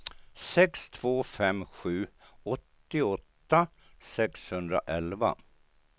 sex två fem sju åttioåtta sexhundraelva